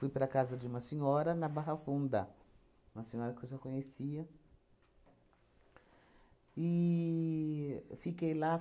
para a casa de uma senhora, na Barra Funda, uma senhora que eu já conhecia, e fiquei lá.